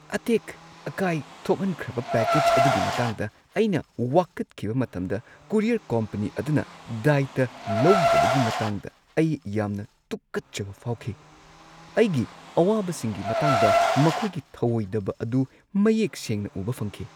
ꯑꯇꯦꯛ-ꯑꯀꯥꯏ ꯊꯣꯛꯍꯟꯈ꯭ꯔꯕ ꯄꯦꯀꯦꯖ ꯑꯗꯨꯒꯤ ꯃꯇꯥꯡꯗ ꯑꯩꯅ ꯋꯥꯀꯠꯈꯤꯕ ꯃꯇꯝꯗ ꯀꯣꯔꯤꯌꯔ ꯀꯣꯝꯄꯅꯤ ꯑꯗꯨꯅ ꯗꯥꯏꯇ ꯂꯧꯗꯕꯒꯤ ꯃꯇꯥꯡꯗ ꯑꯩ ꯌꯥꯝꯅ ꯇꯨꯀꯠꯆꯕ ꯐꯥꯎꯈꯤ ꯫ ꯑꯩꯒꯤ ꯑꯋꯥꯕꯁꯤꯡꯒꯤ ꯃꯇꯥꯡꯗ ꯃꯈꯣꯏꯒꯤ ꯊꯧꯑꯣꯏꯗꯕ ꯑꯗꯨ ꯃꯌꯦꯛ ꯁꯦꯡꯅ ꯎꯕ ꯐꯪꯈꯤ꯫